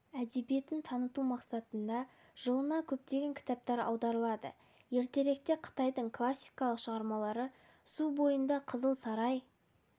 әдебиетін таныту мақсатында жылына көптеген кітаптар аударылады ертеректе қытайдың классикалық шығармалары су бойында қызыл сарай